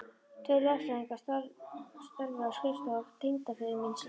Tveir lögfræðinganna störfuðu á skrifstofu tengdaföður míns í